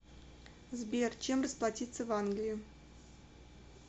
сбер чем расплатиться в англии